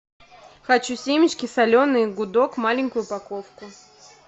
хочу семечки соленые гудок маленькую упаковку